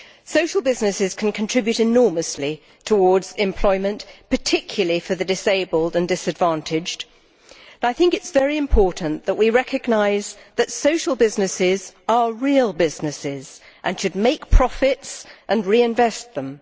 Social businesses can contribute enormously towards employment, particularly for the disabled and disadvantaged, but I think it is very important that we recognise that social businesses are real businesses and should make profits and reinvest them.